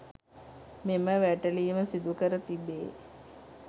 මෙම වැටලීම සිදුකර තිබේ.